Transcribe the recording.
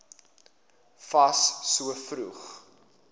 fas so vroeg